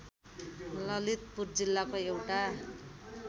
ललितपुर जिल्लाको एउटा